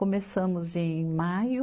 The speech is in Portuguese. Começamos em maio.